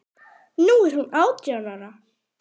Nú er hún átján ára.